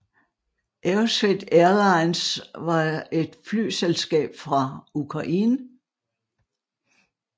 Aerosvit Airlines var et flyselskab fra Ukraine